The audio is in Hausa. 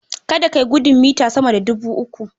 Kada ka yi gudun mita sama dubu uku.